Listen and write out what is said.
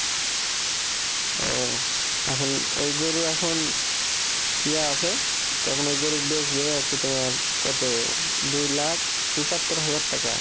ও এখন ওই গরু এখন ইয়া আছে তো এখন ও গরুর বেচলে হচ্ছে তোমার কত দুই লাখ পঁচাত্তর হাজার টাকা